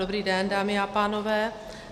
Dobrý den, dámy a pánové.